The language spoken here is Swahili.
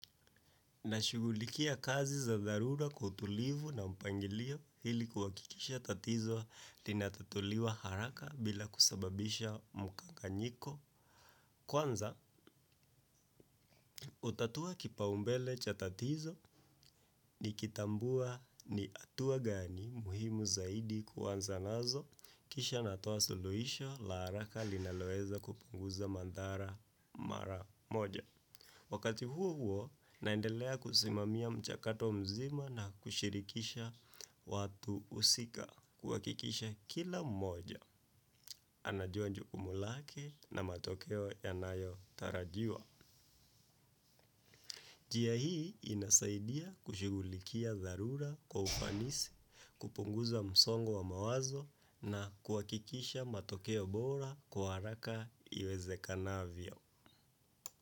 Nashugulikia kazi za dharura kwa kutulivu na mpangilio, ili kuhakikisha tatizo linatatuliwa haraka bila kusababisha mkanganyiko. Kwanza, hutatua kipaumbele cha tatizo nikitambua ni hatua gani muhimu zaidi kuanzanazo. Kisha natoa suluhisho la haraka linaloweza kupunguza madhara mara moja. Wakati huohuo, naendelea kusimamia mchakato mzima na kushirikisha watu husika, kuhakikisha kila mmoja anajua jukumu lake na matokeo yanayotarajiwa. Njia hii inasaidia kushughulikia dharura kwa ufanisi, kupunguza msongo wa mawazo na kuhakikisha matokeo bora kwa haraka iwezekanavyo.